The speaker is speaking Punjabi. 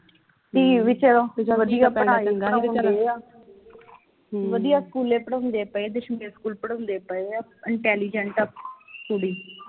ਵਧੀਆ ਸਕੂਲੇ ਪੜਾਉਦੇ ਪਏ ਸਕੂਲੇ ਪੜਾਉਂਦੇ ਪਏ ਆ intelligent ਆ ਕੁੜੀ